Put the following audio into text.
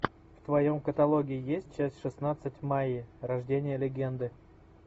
в твоем каталоге есть часть шестнадцать майи рождение легенды